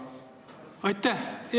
Aitäh!